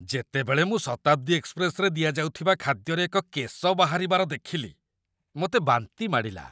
ଯେତେବେଳେ ମୁଁ ଶତାବ୍ଦୀ ଏକ୍ସପ୍ରେସ୍‌ରେ ଦିଆଯାଉଥିବା ଖାଦ୍ୟରେ ଏକ କେଶ ବାହାରିବାର ଦେଖିଲି, ମୋତେ ବାନ୍ତି ମାଡ଼ିଲା